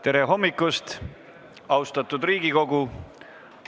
Tere hommikust, austatud Riigikogu!